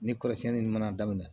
Ni kɔrɔsiɲɛni ni mana daminɛ